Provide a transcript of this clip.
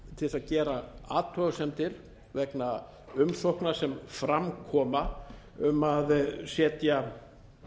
til þess að gera athugasemdir vegna umsókna sem fram koma um að setja